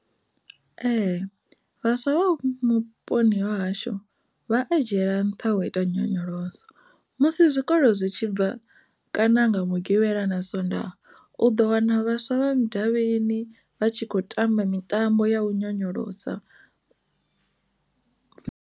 Vhaswa vha vhuponi ha hashu vha dziela nṱha u ita nyonyoloso musi zwikolo zwi tshi bva kana nga mugivhala na sondaha u ḓo wana vhaswa vha mudavhini vha tshi kho tamba mitambo ya u nyonyolosa.